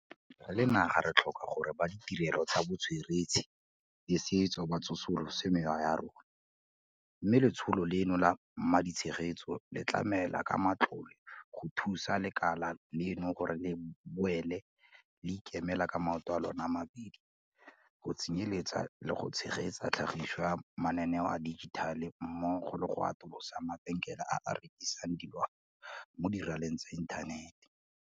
Re le naga re tlhoka gore ba ditirelo tsa botsweretshi le setso ba tsosolose mewa ya rona - mme letsholo leno la maditshegetso le tlamela ka matlole go thusa lekala leno gore le boele le ikemele ka maoto a lona a mabedi, go tsenyeletsa le go tshegetsa tlhagiso ya mananeo a dijithale mmogo le go atolosa mabenkele a a rekisang dilwana mo diraleng tsa inthanete.